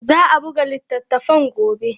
Za a buga littattafan gobe.